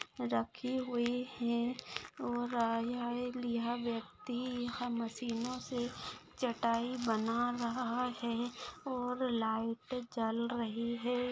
रखी हुई है और व्यक्ति यह मशीनोसे चटाई बना रहा है और लाइट जल रही है।